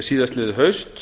síðastliðið haust